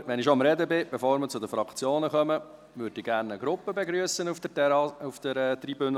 Wenn ich schon spreche: Bevor wir zu den Fraktionen kommen, würde ich gerne eine Gruppe begrüssen auf der Tribüne.